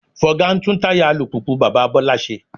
Fọga ń tún táyà alùpùpù bàbá Bọ́lá ṣe